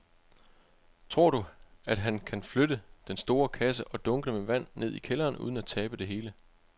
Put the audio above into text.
Tror du, at han kan flytte den store kasse og dunkene med vand ned i kælderen uden at tabe det hele?